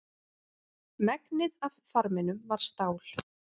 Megnið af farminum var stál.